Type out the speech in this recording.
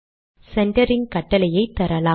centring கட்டளையை தரலாம்